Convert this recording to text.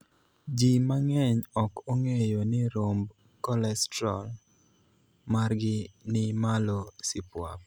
Jii mang'eny ok ong'eyo ni romb kolestrol margi ni malo sipuap